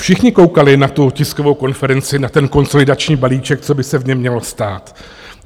Všichni koukali na tu tiskovou konferenci, na ten konsolidační balíček, co by se v něm mělo stát.